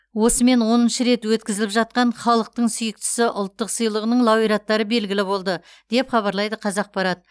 осымен оныншы рет өткізіліп жатқан халықтың сүйіктісі ұлттық сыйлығының лауреаттары белгілі болды деп хабарлайды қазақпарат